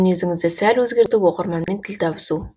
мінезіңізді сәл өзгертіп оқырманмен тіл табысу